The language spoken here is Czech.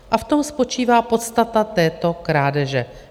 A v tom spočívá podstata této krádeže.